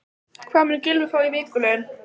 Hvað mun Gylfi fá í vikulaun?